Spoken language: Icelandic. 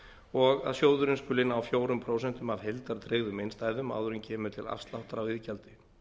og að sjóðurinn skuli ná fjögur prósent af heildartryggðum innstæðum áður en kemur til afsláttar á iðgjaldi